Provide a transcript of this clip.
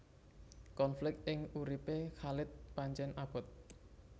Konflik ing uripé Khalid pancèn abot